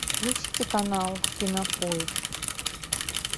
включите канал кинопоиск